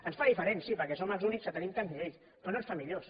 ens fa diferents sí perquè som els únics que tenim tants nivells però no ens fa millors